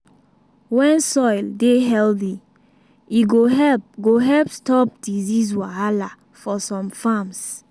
when soil dey healthy e go help go help stop disease wahala for some farms.